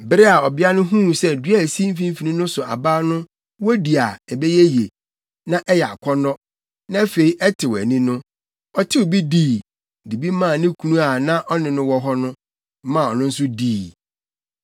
Bere a ɔbea no huu sɛ dua a esi mfimfini no so aba no wodi a, ɛbɛyɛ yie, na ɛyɛ akɔnnɔ, na afei ɛtew ani no, ɔtew bi dii, de bi maa ne kunu a na ɔne no wɔ hɔ no, maa ɔno nso dii.